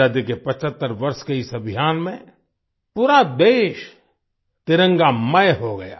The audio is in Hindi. आजादी के 75 वर्ष के इस अभियान में पूरा देश तिरंगामय हो गया